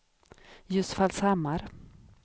Ljusfallshammar